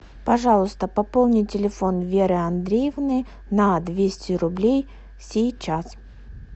пожалуйста пополни телефон веры андреевны на двести рублей сейчас